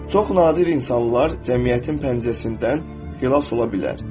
Çox nadir insanlar cəmiyyətin pəncəsindən xilas ola bilər.